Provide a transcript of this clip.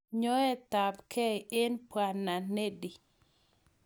Nyoetabgei eng Bw. Needy